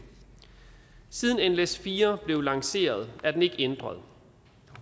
siden nles4 blev lanceret er den ikke ændret